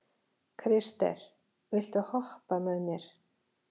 Krister, viltu hoppa með mér?